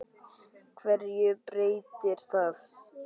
HVERJU BREYTIR ÞAÐ?